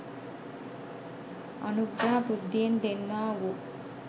අනුග්‍රහ බුද්ධියෙන් දෙන්නා වූ